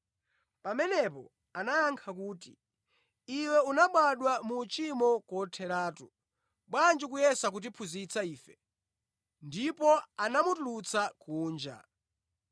Pamenepo anayankha kuti, “Iwe unabadwa mu uchimo kotheratu; bwanji ukuyesa kutiphunzitsa ife!” Ndipo anamutulutsa kunja.